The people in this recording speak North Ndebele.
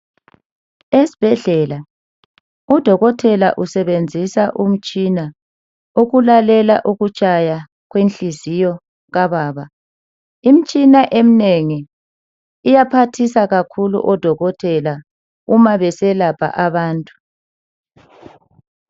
Esibhedlela uDokotela usebenzisa umtshina ukulalela ukutshaya kwenhliziyo kababa. Imitshina eminengi iyaphathisa kakhulu oDokotela uma beselapha abantu.